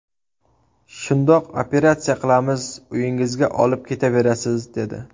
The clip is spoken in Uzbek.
Shundoq operatsiya qilamiz uyingizga olib ketaverasiz!’, dedi.